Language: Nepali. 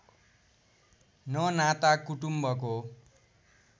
न नाता कुटुम्बको